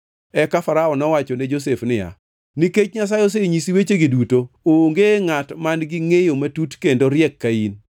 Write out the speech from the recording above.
Eka Farao nowacho ne Josef niya, “Nikech Nyasaye osenyisi wechegi duto, onge ngʼat man-gi ngʼeyo matut kendo riek ka in.